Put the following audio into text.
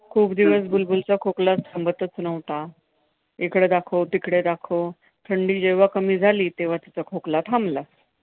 हम्म हम्म खूप दिवस बुलबुलचा खोकला थांबतच नव्हता. इकडे दाखव, तिकडे दाखव. थंडी जेव्हा कमी झाली तेव्हा तिचा खोकला थांबला.